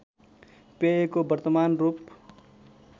पेयको वर्तमान रूप